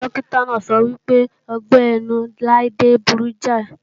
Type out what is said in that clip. Dókítà náà sọ wípé ọgbẹ́-inú Laide burú jáì